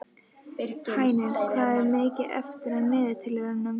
Hænir, hvað er mikið eftir af niðurteljaranum?